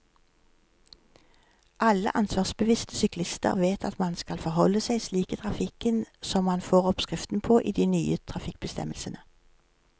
Alle ansvarsbevisste syklister vet at man skal forholde seg slik i trafikken som man får oppskriften på i de nye trafikkbestemmelsene.